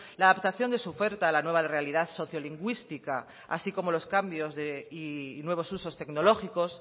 la adaptación de su oferta a la nueva realidad sociolingüística así como los cambios de y nuevos usos tecnológicos